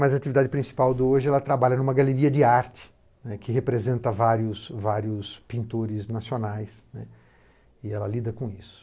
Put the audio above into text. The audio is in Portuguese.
Mas a atividade principal do hoje é trabalhar numa galeria de arte, né, que representa vários vários pintores nacionais, né, e ela lida com isso.